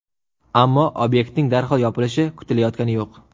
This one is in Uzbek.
Ammo obyektning darhol yopilishi kutilayotgani yo‘q.